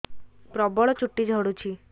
ପ୍ରବଳ ଚୁଟି ଝଡୁଛି